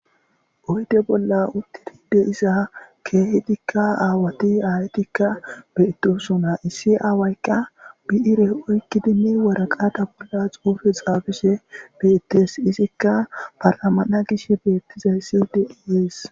oyde bolla uttidi de7iza keehetikka aawati aayatikka beettosona issi aawaykka bi7ire oykkidinne waraqata bolla xuufe xaafishe beettees izikka paramana gishe beettizay sidetes